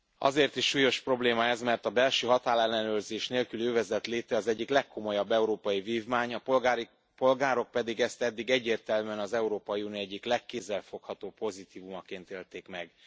Azért is súlyos probléma ez, mert a belső határellenőrzés nélküli övezet léte az egyik legkomolyabb európai vívmány, a polgárok pedig ezt eddig egyértelműen az Európai Unió egyik legkézzelfoghatóbb pozitívumaként élték meg.